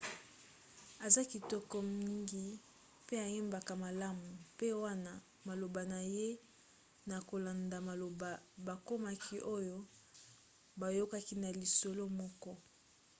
aza kitoko mngi mpe ayembaka malamu mpe wana maloba na ye na kolanda maloba bakomaki oyo bayokaki na lisolo moko